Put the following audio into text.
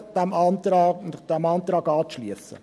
Ich bitte Sie, sich diesem Antrag anzuschliessen.